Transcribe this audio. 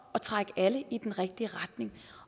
at trække alle i den rigtige retning